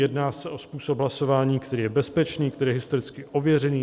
Jedná se o způsob hlasování, který je bezpečný, který je historicky ověřený.